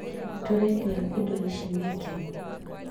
Tũrendia indo ici nĩkĩ